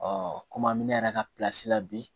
kɔmi an bɛ ne yɛrɛ ka la bi